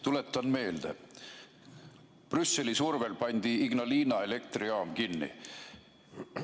Tuletan meelde: Brüsseli survel pandi Ignalina elektrijaam kinni.